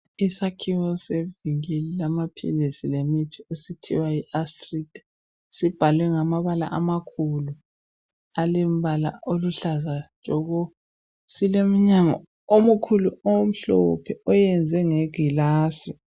Isakhiwo sevikili lamaphilisi lemithi okuthiwa Yi astrida sibhalwe ngamabala amakhulu alembala oluhlaza tshoko silomnyango omkhulu omhlophe oyenziwe nge gilasi